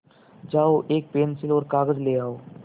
जाओ एक पेन्सिल और कागज़ ले आओ